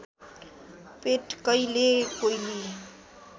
पेटकैले कोइली